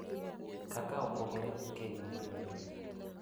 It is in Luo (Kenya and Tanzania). kaka opogore gi keny ma pile pile.